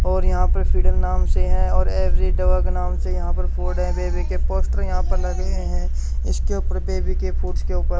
और यहां पर फ्रीडम नाम से हैं और एवरी दवा के नाम से यहां पर फोर्ड है बेबी के पोस्टर यहां पर लगे हैं इसके ऊपर बेबी के फूड्स के ऊपर --